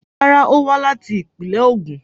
Rárá, ó wá láti ìpínlẹ̀ Ogun